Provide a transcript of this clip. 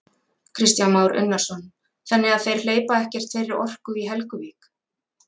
Kristján Már Unnarsson: Þannig að þeir hleypa ekkert þeirri orku í Helguvík?